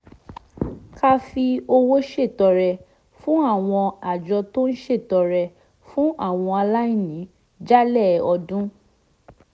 ká fi owó ṣètọrẹ fún àwọn àjọ tó ń ṣètọrẹ fún àwọn aláìní jálẹ̀ ọdún